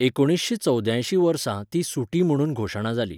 एकुणशे चौवद्यांयशी वर्सा ती सुटी म्हणून घोशणा जाली.